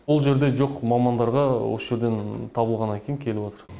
ол жерде жоқ мамандарға осы жерден табылғаннан кейін келіватыр